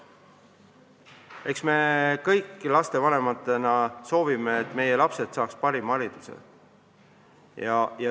Eks me kõik lastevanematena soovime, et meie lapsed saaksid parima hariduse.